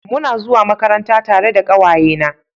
Muna zuwa Makaranta tare da kawaye na